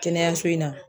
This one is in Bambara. Kɛnɛyaso in na